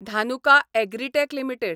Dhanuka Agritech limited